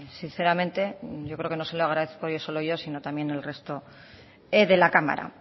sinceramente yo creo que no se lo agradezco solo yo sino también el resto de la cámara